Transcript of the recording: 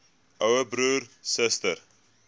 ouer broer suster